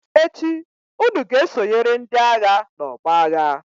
echi unu ga-esonyere ndi-agha n'ọgbọ agha!